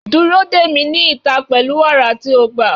Dúró dè mí ní ìta pẹ̀lú wàrà tí o gbà.